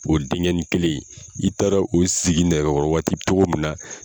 O denkɛnin kelen n'i taara ka t'o sigi nɛgɛkɔrɔ waati cogo min na